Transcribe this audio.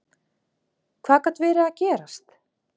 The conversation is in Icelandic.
Hvað gat verið að gerast?